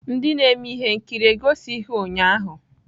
Ndị na-eme ihe nkiri egosighi ụnyahụ.